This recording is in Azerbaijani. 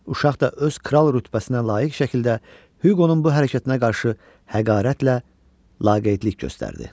Uşaq da öz kral rütbəsinə layiq şəkildə Huqonun bu hərəkətinə qarşı həqarətlə, laqeydlik göstərdi.